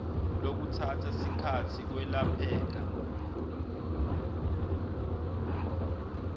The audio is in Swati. lokutsatsa sikhatsi kwelapheka